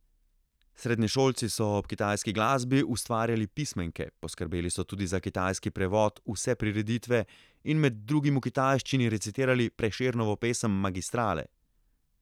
Srednješolci so ob kitajski glasbi ustvarjali pismenke, poskrbeli so tudi za kitajski prevod vse prireditve in med drugim v kitajščini recitirali Prešernovo pesem Magistrale.